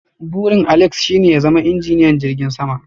Burin Alex's shine ya zama injiniyan jirgin sama.